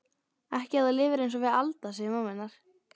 Ekki ef þú lifir einsog við Alda, segir mamma hennar.